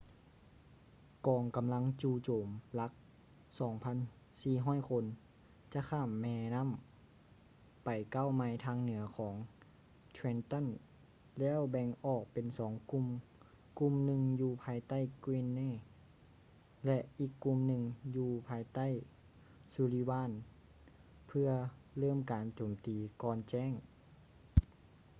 ກອງກໍາລັງຈູ່ໂຈມຫຼັກ 2,400 ຄົນ ຈະຂ້າມແມນໍ້າໄປເກົ້າໄມລ໌ທາງເໜືອຂອງ trenton ແລ້ວແບ່ງອອກເປັນສອງກຸ່ມ ກຸ່ມໜຶ່ງຢູ່ພາຍໃຕ້ greene ແລະ ອີກກຸ່ມໜຶ່ງຢູ່ພາຍໃຕ້ sullivan ເພຶ່ອເລີ່ມການໂຈມຕີກ່ອນແຈ້ງ